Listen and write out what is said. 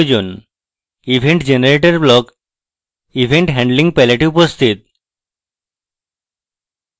event generator block event handling palette এ উপস্থিত